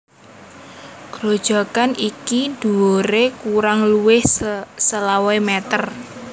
Grojogan iki dhuwuré kurang luwih selawe meter